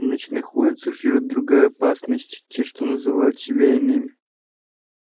на ночных улицах живёт другая опасность те что называют себя иными